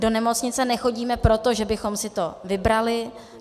Do nemocnice nechodíme proto, že bychom si to vybrali.